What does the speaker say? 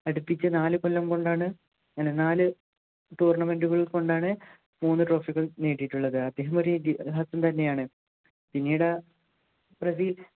അടുപ്പിച്ചു നാലുകൊല്ലം കൊണ്ടാണ് നാലു tournament കൾ കൊണ്ടാണ് മൂന്നു trophy കൾ നേടിയിട്ടുള്ളത് അദ്ദേഹം ഒരു ഇതിഹാസം തന്നെയാണ് പിന്നീട് ആ പ്രതി